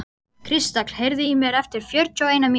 Kristall, heyrðu í mér eftir fjörutíu og eina mínútur.